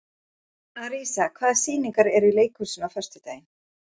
Arisa, hvaða sýningar eru í leikhúsinu á föstudaginn?